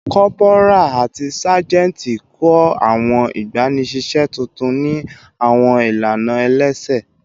Corporal ati sajenti kọ awọn igbanisiṣẹ tuntun ni awọn ilana ẹlẹsẹ